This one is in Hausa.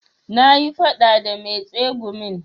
Na yi faɗa da mai tsegumin